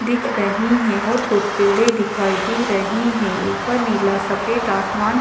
दिख रही हैं और कुछ पेड़े दिखाई दे रहे हैं ऊपर नीला सफेद आसमान--